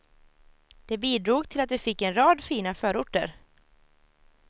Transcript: Det bidrog till att vi fick en rad fina förorter.